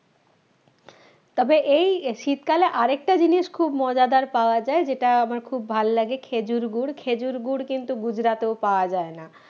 তবে এই শীতকালে আরেকটা জিনিস খুব মজাদার পাওয়া যায় যেটা আমার খুব ভাল লাগে খেজুর গুড় খেজুর গুড় কিন্তু গুজরাটেও পাওয়া যায় না